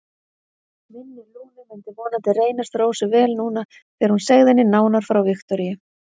Minni Lúnu myndi vonandi reynast Rósu vel núna þegar hún segði henni nánar frá Viktoríu.